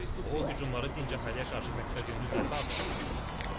O hücumları dinc əhaliyə qarşı məqsədyönlü zərbə adlandırıb.